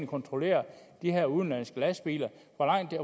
kontrollere de her udenlandske lastbiler